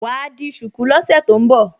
Wà á di ṣùkú lọ́sẹ̀ tó ń bọ̀